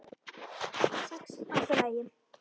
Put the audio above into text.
Sex allt í lagi.